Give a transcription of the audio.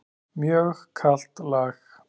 Mjög kalt lag.